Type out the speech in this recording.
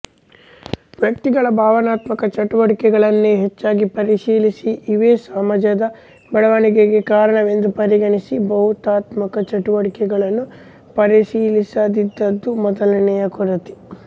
ವ್ಯಕ್ತಿಗಳ ಭಾವನಾತ್ಮಕ ಚಟುವಟಿಕೆಗಳನ್ನೇ ಹೆಚ್ಚಾಗಿ ಪರಿಶೀಲಿಸಿ ಇವೇ ಸಮಾಜದ ಬೆಳವಣಿಗೆಗೆ ಕಾರಣವೆಂದು ಪರಿಗಣಿಸಿ ಭೌತಾತ್ಮಕ ಚಟುವಟಿಕೆಗಳನ್ನು ಪರಿಶೀಲಿಸದಿದ್ದುದು ಮೊದಲನೆಯ ಕೊರತೆ